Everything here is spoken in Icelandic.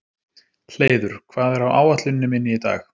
Hleiður, hvað er á áætluninni minni í dag?